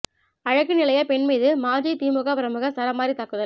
அழகு நிலைய பெண் மீது மாஜி திமுக பிரமுகர் சரமாரி தாக்குதல்